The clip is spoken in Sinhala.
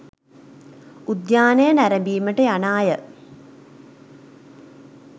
උද්‍යානය නැරඹීමට යන අය